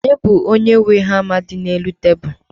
Ọ bụ onye nwe hama dị n'elu tebulu?